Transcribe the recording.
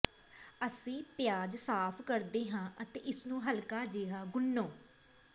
ਅਸੀਂ ਪਿਆਜ਼ ਸਾਫ ਕਰਦੇ ਹਾਂ ਅਤੇ ਇਸ ਨੂੰ ਹਲਕਾ ਜਿਹਾ ਗੁਨ੍ਹੋ